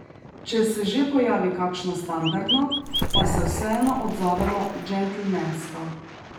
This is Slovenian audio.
Če se že pojavi kakšno standardno, pa se vseeno odzovemo džentelmensko.